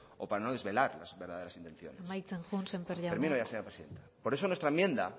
o para no desvelar las verdaderas intenciones amaitzen joan sémper jauna termino ya señora presidenta por eso nuestra enmienda